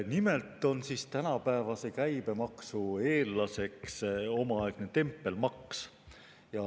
Nimelt on tänapäevase käibemaksu eellaseks omaaegne tempelmaks.